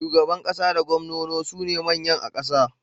Shugaban ƙasa da gwamnono sune manyan a ƙasa.